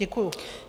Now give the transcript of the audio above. Děkuji.